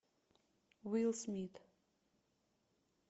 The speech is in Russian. уилл смит